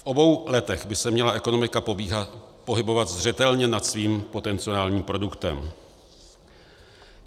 V obou letech by se měla ekonomika pohybovat zřetelně nad svým potenciálním produktem.